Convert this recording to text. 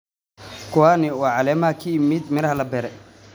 Kuwani waa caleemaha ka yimid miraha la beeray.